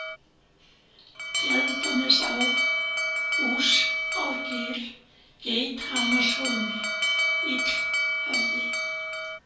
Tjaldanesá, Húsárgil, Geithamrahólmi, Illhöfði